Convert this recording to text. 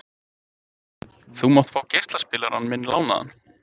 Þú mátt fá geislaspilarann minn lánaðan.